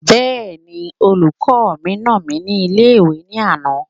Bẹ́ẹ̀ni, olùkọ́ mi nà mí ní ilé-ìwé ní àná